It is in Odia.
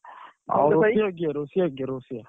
ରୋଷେୟା କିଏ ରୋଷେୟା କିଏ ରୋଷେୟା?